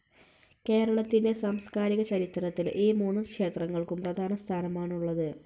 കേരളത്തിന്റെ സാംസ്കാരിക ചരിത്രത്തിൽ ഈ മൂന്ന് ക്ഷേത്രങ്ങൾക്കും പ്രധാന സ്ഥാനമാണുള്ളത്.